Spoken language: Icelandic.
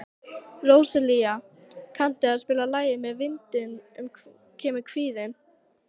Róselía, kanntu að spila lagið „Með vindinum kemur kvíðinn“?